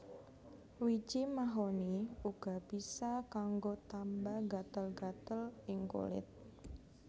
Wiji mahoni uga bisa kanggo tamba gatel gatel ing kulit